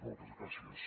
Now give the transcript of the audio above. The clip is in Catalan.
moltes gràcies